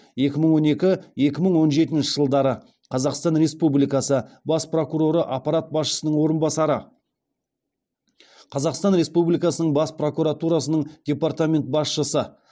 екі мың он екі екі мың он жетінші жылдары қазақстан республикасы бас прокуроры аппарат басшысының орынбасары қазақстан республикасының бас прокуратурасы департамент басшысы